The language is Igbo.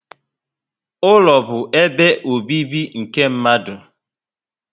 Ụlọ bu ebe obibi nke mmadụ